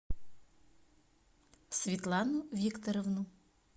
светлану викторовну